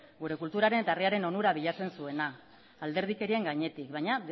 gure kulturaren eta herriaren onura bilatzen zuena alderdikerien gainetik baina